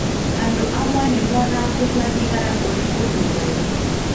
Andũ amwe nĩ monaga kũnyua thigara ũrĩ ũndũ mwega.